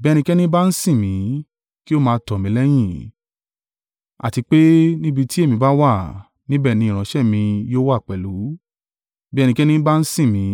Bí ẹnikẹ́ni bá ń sìn mí, kí ó máa tọ̀ mí lẹ́yìn, àti pe níbi tí èmi bá wà, níbẹ̀ ni ìránṣẹ́ mi yóò wà pẹ̀lú, bí ẹnikẹ́ni bá ń sìn mí,